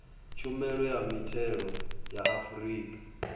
tshumelo ya mithelo ya afrika